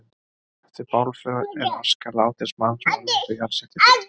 Eftir bálför er aska látins manns varðveitt og jarðsett í duftkeri.